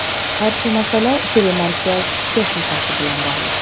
Barcha masala telemarkaz texnikasi bilan bog‘liq.